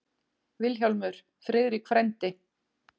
VILHJÁLMUR: Friðrik frændi!